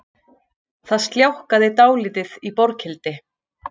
Það sljákkaði dálítið í Borghildi